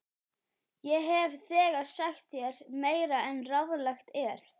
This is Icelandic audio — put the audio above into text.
Ég hef þegar sagt þér meira en ráðlegt er.